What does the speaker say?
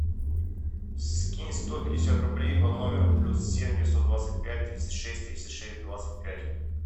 скинь сто пятьдесят рублей по номеру плюс семь девятьсот двадцать пять тридцать шесть тридцать шесть двадцать пять